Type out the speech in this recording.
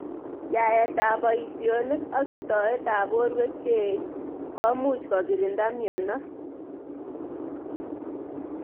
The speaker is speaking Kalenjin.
Aet ab boishonik ak istoet ab borwek cheech komuch kokirinda mnyenot.